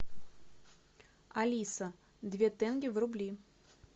алиса две тенге в рубли